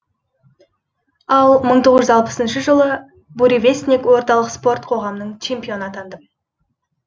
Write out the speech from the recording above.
ал мың тоғыз жүз алпысыншы жылы буревестник орталық спорт қоғамының чемпионы атандым